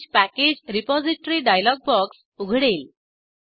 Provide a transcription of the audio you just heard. change package repository dialog box उघडेल